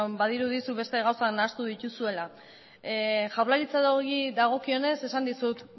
badirudi zuk beste gauza nahastu dituzula jaurlaritzari dagokionez esan dizut